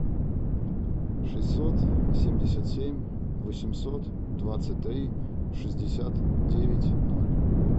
шестьсот семьдесят семь восемьсот двадцать три шестьдесят девять ноль